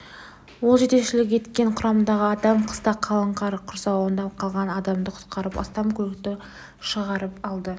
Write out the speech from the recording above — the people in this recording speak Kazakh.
ол жетекшілік еткен құрамдағы адам қыста қалың қар құрсауында қалған адамды құтқарып астам көлікті шығарып алды